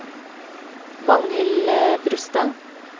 Magnhild Brustad